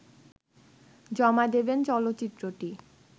জমা দেবেন চলচ্চিত্রটি